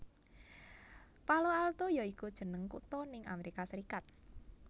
Palo Alto ya iku jeneng kutha ning Amerika Serikat